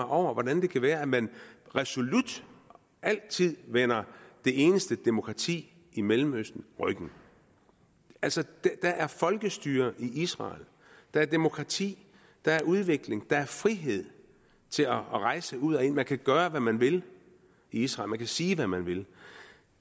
over hvordan det kan være at man resolut altid vender det eneste demokrati i mellemøsten ryggen altså der er folkestyre i israel der er demokrati der er udvikling der er frihed til at rejse ud og ind man kan gøre hvad man vil i israel man kan sige hvad man vil